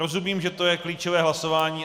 Rozumím, že je to klíčové hlasování.